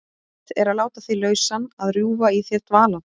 Mitt er að láta þig lausan, að rjúfa í þér dvalann.